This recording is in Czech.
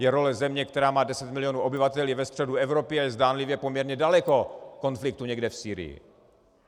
Je role země, která má deset milionů obyvatel, je ve středu Evropy a je zdánlivě poměrně daleko konfliktu někde v Sýrii.